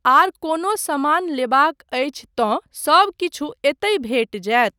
आर कोनो समान लेबाक अछि तँ सबकिछु एतय भेटि जायत।